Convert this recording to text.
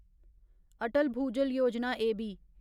Atal Bhujal Yojana एबी